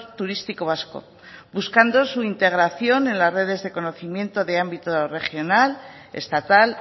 turístico vasco buscando su integración en la redes de conocimiento de ámbito regional estatal